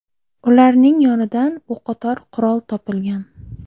Ularning yonidan o‘qotar qurol topilgan.